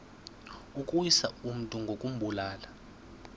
ukuwisa umntu ngokumbulala